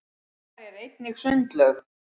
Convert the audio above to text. þar er einnig sundlaug